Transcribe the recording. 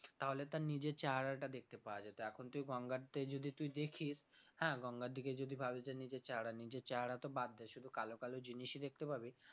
তাহলে তার নিজের চেহারাটা দেখতে পাওয়া যেত এখন তুই গঙ্গাতে যদি তুই দেখিস হ্যাঁ, গঙ্গার দিকে যদি ভাবিস যে নিজের চেহারা নিজের চেহারা তো বাদ দে শুধু কালো কালো জিনিসই দেখতে পাবি